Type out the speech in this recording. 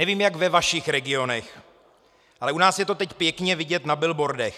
Nevím, jak ve vašich regionech, ale u nás je to teď pěkně vidět na billboardech.